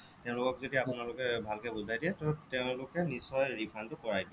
তেওঁলোকক যদি আপোনালোকে ভালকৈ বুজাই দিয়ে তেওঁলোকে নিশ্চয় refund টো কৰাই দিয়ে